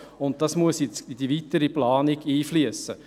Dies muss in die weitere Planung einfliessen.